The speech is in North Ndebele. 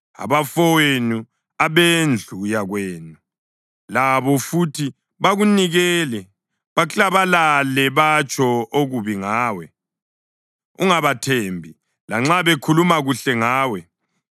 Abafowenu, abendlu yakwenu labo futhi bakunikele; baklabalale batsho okubi ngawe. Ungabathembi, lanxa bekhuluma kuhle ngawe.